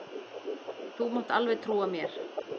Þú mátt alveg trúa mér!